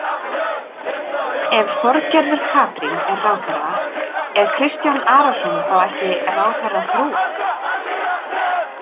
Ef Þorgerður Katrín er ráðherra, er Kristján Arason þá ekki ráðherrafrú?